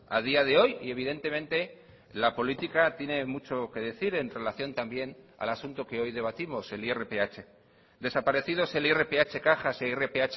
a día de hoy y evidentemente la política tiene mucho que decir en relación también al asunto que hoy debatimos el irph desaparecidos el irph cajas e irph